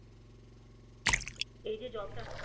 এই যে job টা